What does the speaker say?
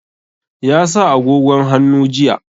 Ya sa agogon hannu jiya.